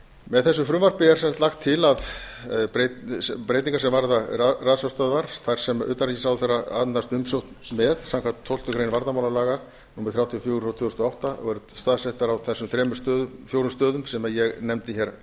með þessu frumvarpi er lagt til að breytingar þær sem varða ratsjárstöðvar þær sem utanríkisráðherra annast umsókn með samkvæmt tólftu greinar varnarmálalaga númer þrjátíu og fjögur tvö þúsund og átta og eru staðsettar á þessum fjórum stöðum sem ég nefndi